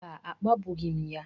Mba, akpagbughị m ya.